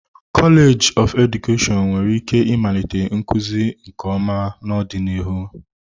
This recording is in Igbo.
Kọleji of Edukeshọn nwere ike ịmalite nkuzi nke ọma n'ọdịnihu.